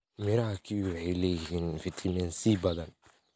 Miraha kiwi waxay leeyihiin fiitamiin C badan.